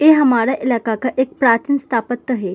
ए हमारा इलाका का एक प्राचीन स्तापत हे ।